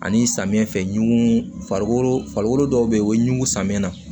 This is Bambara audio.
Ani samiyɛ fɛ ɲugu dɔw be yen o ye ɲugu samiyɛ na